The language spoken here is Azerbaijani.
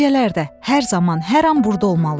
Gecələr də, hər zaman, hər an burda olmalıyam.